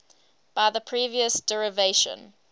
by the previous derivation